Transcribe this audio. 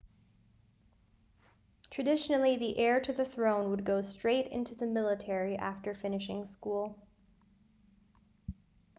traditionally the heir to the throne would go straight into the military after finishing school